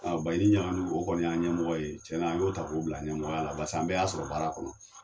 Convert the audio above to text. Baɲini ɲagadu o kɔni y'an ɲɛmɔgɔ ye cɛn na, an y'o ta k'o bila ɲɛmɔgɔya la barisa an bɛɛ y'a sɔrɔ baara kɔnɔ.